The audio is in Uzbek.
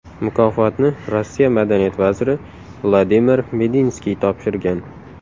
Mukofotni Rossiya madaniyat vaziri Vladimir Medinskiy topshirgan.